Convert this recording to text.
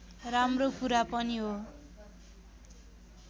राम्रो कुरा पनि हो